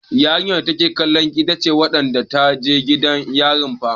Yarinyar da take kallon ki, ita ce wadda ta je gidan giyar fah.